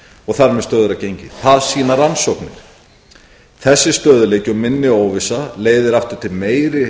og þar með stöðugra gengi það sýna rannsóknir þessi stöðugleiki og minni óvissa leiðir aftur til meiri